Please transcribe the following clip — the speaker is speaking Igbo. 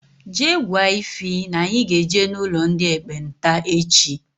Jee gwa Ịfy na-anyi ga-eje n' ụlọ ndị ekpenta echi!!